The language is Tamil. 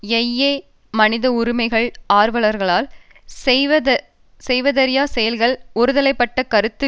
யையே மனித உரிமைகள் ஆர்வலர்களால் செய்யத்தவறிய செயல்கள் ஒருதலைப்பட்ட கருத்து